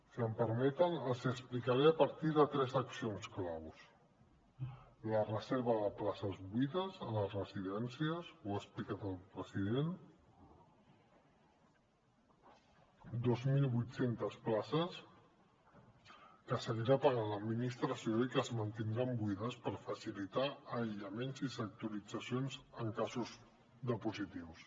si em permeten els ho explicaré a partir de tres accions clau la reserva de places buides a les residències ho ha explicat el president dos mil vuit cents places que seguirà pagant l’administració i que es mantindran buides per facilitar aïllaments i sectoritzacions en casos de positius